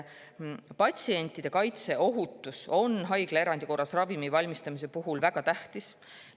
Patsientide kaitse ja ohutus on haiglaerandi korras ravimi valmistamise puhul väga tähtsad.